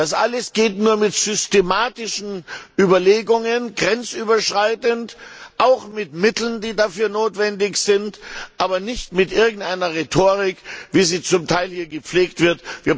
Das alles geht nur mit systematischen Überlegungen, grenzüberschreitend, auch mit Mitteln, die dafür notwendig sind, aber nicht mit irgendeiner Rhetorik, wie sie zum Teil hier gepflegt wird.